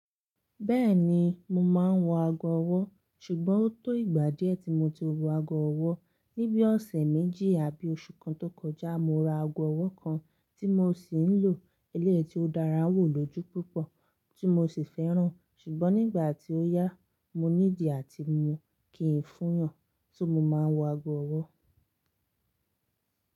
Bẹ́ẹ̀ni, mo máa ń wọ ago ọwọ́, ṣùgbọ́n ó tó ìgbà díẹ̀ tí mo ti wọ ago ọwọ́. Ni bíi ọ̀sẹ̀ méjì àbí oṣù kan tó kọjá, mo ra ago ọwọ́ kan tí mo sì ń lò. Eléyìí tí ó dára wò lọjú púpọ̀, tí mo sì fẹ́ràn. Ṣùgbọ́n nígbà tí ó yá, mo ní di àti mu kí n fúyàn so mo máa wọ ago ọwọ́.